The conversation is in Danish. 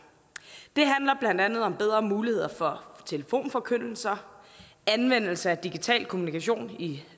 det handler blandt andet om bedre muligheder for telefonforkyndelse anvendelse af digital kommunikation i